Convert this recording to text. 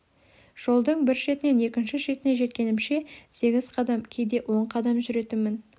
жолдың бір шетінен екінші шетіне жеткенімше сегіз қадам кейде он қадам жүретінмін